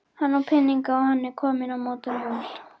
Hann á peninga og hann er kominn á mótorhjól.